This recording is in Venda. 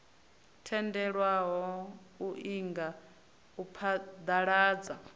tendelwaho u inga u phaḓaladza